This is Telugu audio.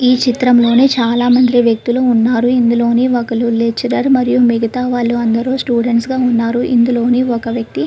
ఈ చిత్రంలోని చాలామంది వ్యక్తులు ఉన్నారు. ఇందులోని ఒకరు లెక్చరర్ మరియు మిగతా వాళ్ళు అందరూ స్టూడెంట్స్ గా ఉన్నారు. ఇందులోని ఒక వ్యక్తి --